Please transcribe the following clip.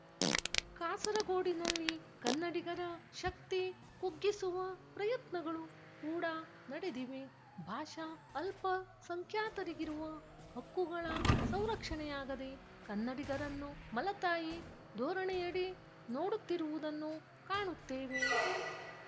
ಕಾಸರಗೋಡಿನಲ್ಲಿ ಕನ್ನಡಿಗರ ಶಕ್ತಿ ಕುಗ್ಗಿಸುವ ಪ್ರಯತ್ನಗಳು ಕೂಡಾ ನಡೆದಿವೆ ಭಾಷಾ ಅಲ್ಪ ಸಂಖ್ಯಾತರಿಗಿರುವ ಹಕ್ಕುಗಳ ಸಂರಕ್ಷಣೆಯಾಗದೆ ಕನ್ನಡಿಗರನ್ನು ಮಲತಾಯಿ ಧೋರಣೆಯಡಿ ನೋಡುತ್ತಿರುವುದನ್ನು ಕಾಣುತ್ತೇವೆ